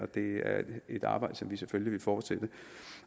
det er et arbejde som vi selvfølgelig vil fortsætte